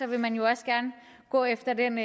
vil man jo også gerne gå efter den